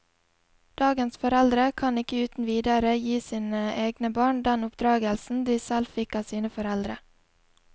Dagens foreldre kan ikke uten videre gi sine egne barn den oppdragelsen de selv fikk av sine foreldre.